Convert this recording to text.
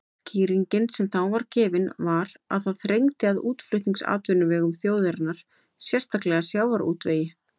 Skýringin sem þá var gefin var að það þrengdi að útflutningsatvinnuvegum þjóðarinnar, sérstaklega sjávarútvegi.